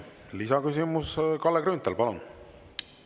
Lisaküsimus, Kalle Grünthal, palun!